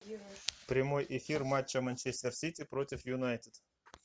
прямой эфир матча манчестер сити против юнайтед